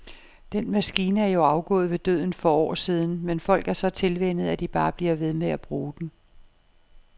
Den maskine er jo afgået ved døden for år siden, men folk er så tilvænnet, at de bare bliver ved med at bruge den.